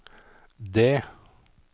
det